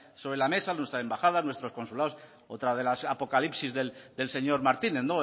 sobre la mesa nuestra embajada nuestros consulados otra de las apocalipsis del señor martínez